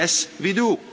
Yes, we do.